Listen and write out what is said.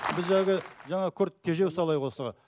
біз әлгі жаңа тежеу салайық осыған